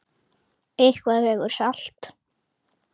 Eitthvað vegur salt